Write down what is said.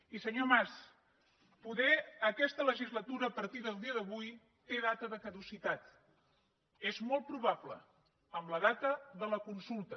i senyor mas poder aquesta legislatura a partir del dia d’avui té data de caducitat és molt probable amb la data de la consulta